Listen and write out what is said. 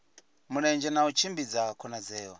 mulenzhe na u tshimbidza khonadzeo